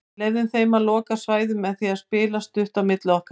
Samstarfssamningur við Eir endurnýjaður